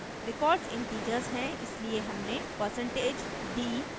records integers हैं इसलिए हमने % d लिखा है